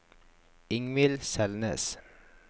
Ingvill Selnes